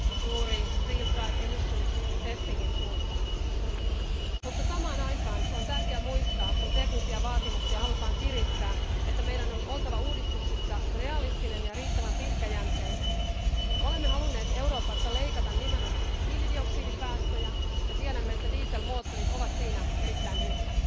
juuri real driving emissions testing in suuntaan. Mutta samaan aikaan on tärkeä muistaa, kun teknisiä vaatimuksia halutaan kiristää, että meidän on oltava uudistuksissa realistinen ja riittävän pitkäjänteinen. Me olemme halunneet Euroopassa leikata nimenomaan hiilidioksidipäästöjä ja tiedämme, että dieselmoottorit ovat siinä erittäin hyviä.